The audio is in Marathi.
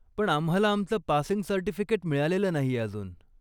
पण आम्हाला आमचं पासिंग सर्टिफिकेट मिळालेलं नाहीये अजून.